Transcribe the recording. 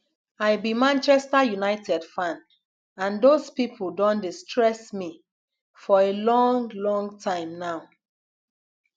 i be manchester united fan and those people don dey stress me for a long long time now